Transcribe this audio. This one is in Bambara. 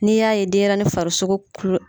Nii y'a ye denyɛrɛnin farisoko